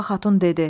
Burla xatun dedi: